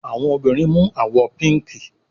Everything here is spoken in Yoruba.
Àwọn obìrin mu àwò píìnkí